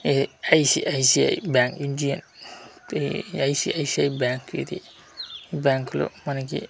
ఎ ICICI bank ఇంజియన్ a ICICI bank ఇది bank లో మనకి--